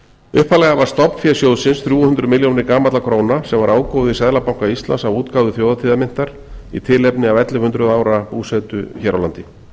upphaflega var stofnfé sjóðsins þrjú hundruð milljónir gamalla króna sem var ágóði seðlabanka íslands af útgáfu þjóðhátíðarmyntar í tilefni af ellefu hundruð ára búsetu hér á landi